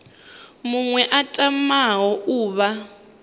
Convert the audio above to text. muṅwe a tamaho u vha